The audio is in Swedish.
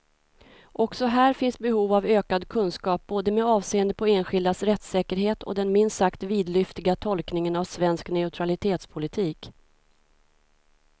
Också här finns behov av ökad kunskap, både med avseende på enskildas rättssäkerhet och den minst sagt vidlyftiga tolkningen av svensk neutralitetspolitik.